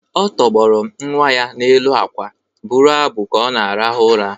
Ọ tọgbọrọ nwa ya n’elu akwa, bụrụ abụ ka ọ na-arahụ ụra